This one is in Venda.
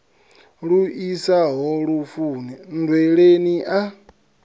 lu isaho lufuni nndweleni a